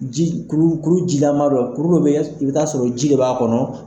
Ji kuru jilaman don. Kuru dɔ be kɛ i bi taa sɔrɔ ji b'a kɔnɔ.